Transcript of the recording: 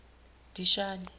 dishani